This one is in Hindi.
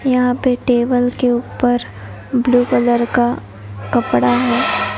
यहां पे टेबल के ऊपर ब्लू कलर का कपड़ा है।